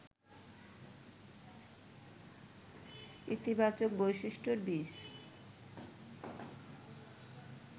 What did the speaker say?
ইতিবাচক বৈশিষ্ট্যের বীজ